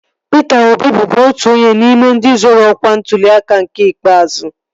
Pịta Obi bụbu otu onye n'ime ndị zoro ọkwa n'ntuli aka nke ikpeazụ